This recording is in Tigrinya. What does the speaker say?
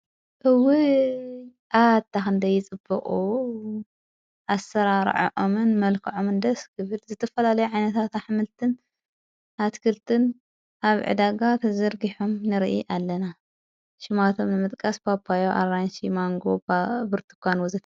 እዊ ኣ ንደይ ጽብኦ ኣሠራ ራዓኦምን መልከ ዖምን ደስ ግብል ዘተፈላለይ ዓይነታ ኣኅምልትን ኣትክልትን ኣብ ዕዳጋ ተዘርጊሖም ንርኢ ኣለና ሽማቶም ንመጥቃስ ጳዮ ኣራንሲ ማንጎባ ብርቲእኳን ኣሎ።